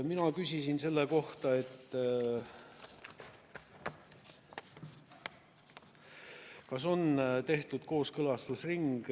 Mina küsisin selle kohta, kas on tehtud kooskõlastusring.